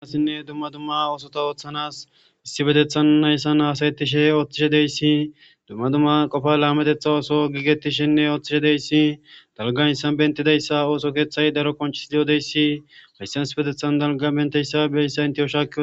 Issilo7iza keeththe garssan asati shiiqi eqqidaysa besees.